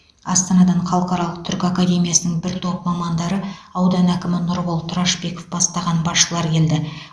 астанадан халықаралық түркі академиясының бір топ мамандары аудан әкімі нұрбол тұрашбеков бастаған басшылар келді